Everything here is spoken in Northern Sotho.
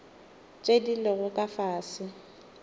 tše di lego ka fase